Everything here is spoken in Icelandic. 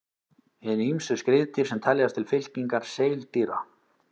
Hin ýmsu skriðdýr sem teljast til fylkingar seildýra.